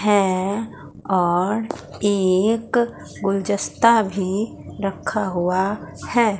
हैं और एक गुलदस्ता भी रखा हुआ है।